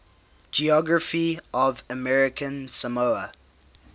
geography of american samoa